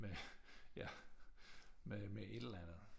Med ja med et eller andet